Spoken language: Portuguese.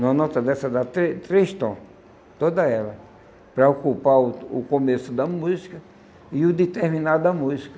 Numa nota dessa dá trê três tom, toda ela, para ocupar o o começo da música e o de terminar da música.